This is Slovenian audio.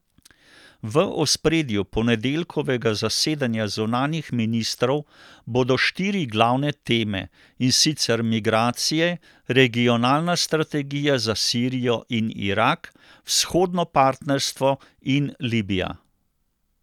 V ospredju ponedeljkovega zasedanja zunanjih ministrov bodo štiri glavne teme, in sicer migracije, regionalna strategija za Sirijo in Irak, vzhodno partnerstvo in Libija.